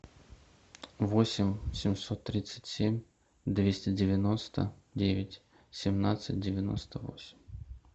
восемь семьсот тридцать семь двести девяносто девять семнадцать девяносто восемь